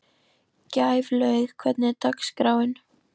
Gæflaug, hvernig er dagskráin?